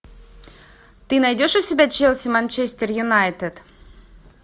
ты найдешь у себя челси манчестер юнайтед